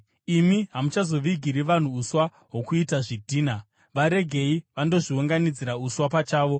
“Imi hamuchazovigiri vanhu uswa hwokuita zvidhina; varegei vandozviunganidzira uswa pachavo.